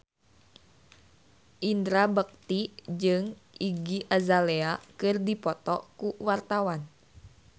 Indra Bekti jeung Iggy Azalea keur dipoto ku wartawan